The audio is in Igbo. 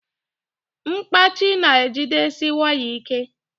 mkpachị na jidesie waya ike